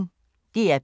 DR P1